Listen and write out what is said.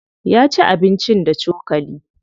Ya ci abincin da cokali.